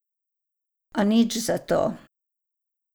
A nič zato.